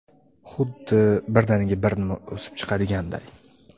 Huddi birdaniga bir nima o‘sib chiqadiganday.